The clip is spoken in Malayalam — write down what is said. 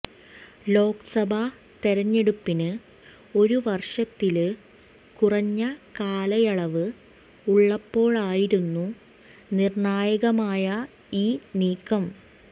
ലോക്സഭാ തെരഞ്ഞെടുപ്പിന് ഒരു വര്ഷത്തില് കുറഞ്ഞ കാലയളവ് ഉള്ളപ്പോഴായിരുന്നു നിര്ണായകമായ ഈ നീക്കം